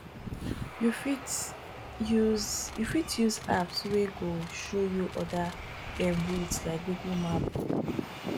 you fit use fit use apps wey go show you oda um routes like google map